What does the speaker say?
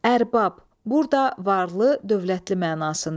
Ərbab, burda varlı, dövlətli mənasında.